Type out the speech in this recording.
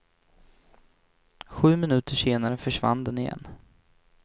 Sju minuter senare försvann den igen.